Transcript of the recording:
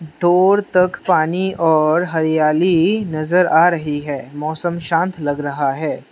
दूर तक पानी और हरियाली नजर आ रही है मौसम शांत लग रहा है।